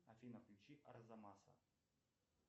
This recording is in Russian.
афина включи арзамаса